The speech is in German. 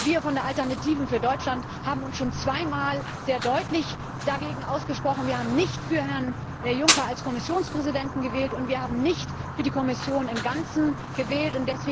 Wir von der Alternative für Deutschland haben uns schon zwei Mal sehr deutlich dagegen ausgesprochen. Wir haben nicht für Herrn Juncker als Kommissionspräsidenten gestimmt und wir haben nicht für die Kommission im Ganzen gestimmt.